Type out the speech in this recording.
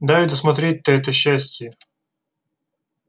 дай досмотреть-то это счастье